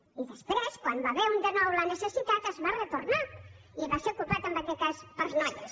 i després quan n’hi va haver un de nou la necessitat es va retornar i va ser ocupat en aquest cas per noies